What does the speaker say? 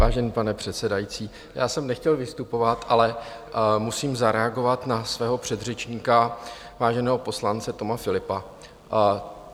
Vážená paní předsedající, já jsem nechtěl vystupovat, ale musím zareagovat na svého předřečníka, váženého poslance Toma Philippa.